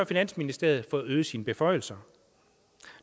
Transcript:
finansministeriet fået øget sine beføjelser